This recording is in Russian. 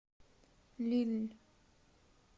лилль